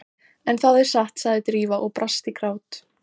En það er satt- sagði Drífa og brast í grát.